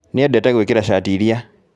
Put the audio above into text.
Nĩendete gũĩkĩra cati ĩrĩa